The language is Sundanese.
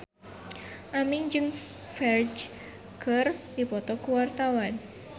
Aming jeung Ferdge keur dipoto ku wartawan